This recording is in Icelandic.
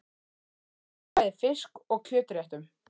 Gott með bæði fisk- og kjötréttum.